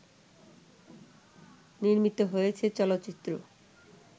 নির্মিত হয়েছে চলচ্চিত্র